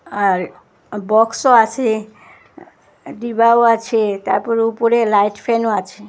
আর আ বক্সও আসে ডিবাও আছে তারপর উপরে লাইট ফ্যানও আছে।